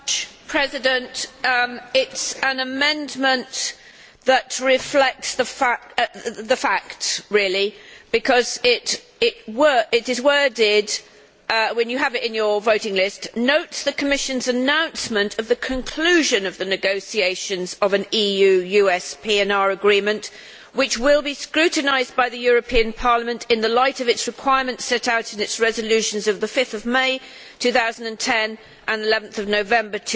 Mr President, it is an amendment that reflects the facts really because it is worded, when you have it in your voting list Notes the Commission's announcement of the conclusion of the negotiations of an EU US PNR agreement which will be scrutinised by the European Parliament in the light of its requirements set out in its resolutions of 5 May 2010 and 11 November